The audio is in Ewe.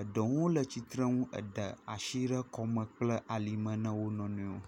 eɖewo le tsitrenu ede asi ɖe ekɔme kple alime ne wo nɔ nɔewo.